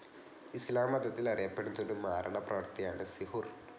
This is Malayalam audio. ഇസ്ലാം മതത്തിൽ അറിയപ്പെടുന്ന ഒരു മാരണപ്രവൃത്തിയാണ് സിഹുർ.